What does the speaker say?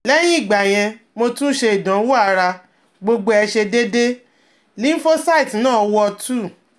Lehin igbayen, motun se idowon ara, gbogbo e se deede, lymphocytes na wo 2